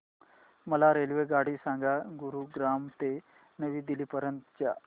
मला रेल्वेगाडी सांगा गुरुग्राम ते नवी दिल्ली पर्यंत च्या